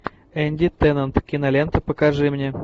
энди теннант кинолента покажи мне